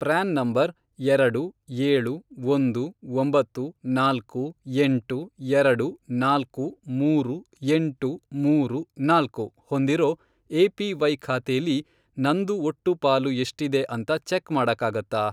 PRAN number, ಎರಡು, ಏಳು, ಒಂದು, ಒಂಬತ್ತು, ನಾಲ್ಕು, ಎಂಟು, ಎರಡು, ನಾಲ್ಕು, ಮೂರು, ಎಂಟು, ಮೂರು, ನಾಲ್ಕು, ಹೊಂದಿರೋ ಎ.ಪಿ.ವೈ. ಖಾತೆಲಿ ನಂದು ಒಟ್ಟು ಪಾಲು ಎಷ್ಟಿದೆ ಅಂತ ಚೆಕ್ ಮಾಡಕ್ಕಾಗತ್ತಾ?